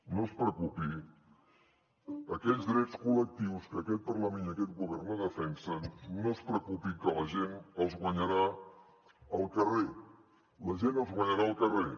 no es preocupi aquells drets col·lectius que aquest parlament i aquest govern no defensen no es preocupi que la gent els guanyarà al carrer la gent els guanyarà al carrer